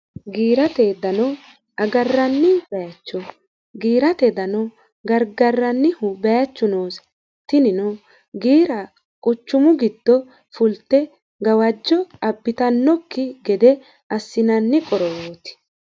giirate ddano agarranni baacho giirateeddano gargarrannihu baachu noosi tinino giira quchumu giddo fulte gawajjo abbitannokki gede assinanni qorowooti